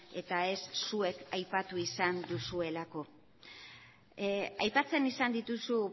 eta ez zuek aipatu izan duzuelako aipatzen izan dituzu